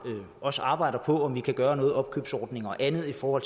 også arbejder på om vi kan gøre noget opkøbsordning og andet for